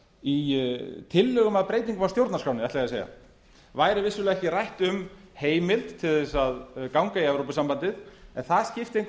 í tillögum að breytingu á stjórnarskránni væri vissulega ekki rætt um heimild til að ganga í evrópusambandið en það skipti engu